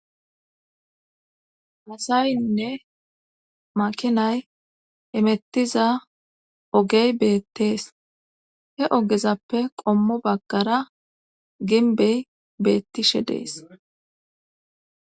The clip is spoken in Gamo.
Hasayinne makinay emettiza ogey beettees he ogezappe qommo baggara ginbey beettishe dees.